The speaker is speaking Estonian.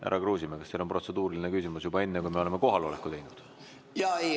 Härra Kruusimäe, kas teil on protseduuriline küsimus juba enne, kui me oleme kohaloleku kontrolli teinud?